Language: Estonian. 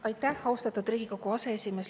Aitäh, austatud Riigikogu aseesimees!